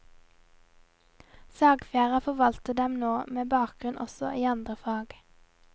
Sagfjæra forvalter dem nå, med bakgrunn også i andre fag.